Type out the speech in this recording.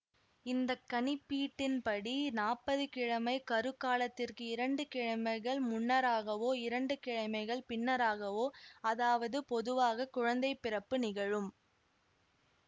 இந்த கணிப்பீட்டின் படி நாப்பது கிழமை கருக்காலத்திற்கு இரண்டு கிழமைகள் முன்னராகவோ இரண்டு கிழமைகள் பின்னராகவோ அதாவது பொதுவாக குழந்தை பிறப்பு நிகழும்